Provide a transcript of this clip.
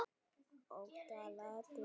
Ótal atriði rifjast upp.